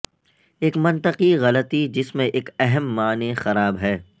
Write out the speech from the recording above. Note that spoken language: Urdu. ایک منطقی غلطی جس میں ایک اہم معنی خراب ہے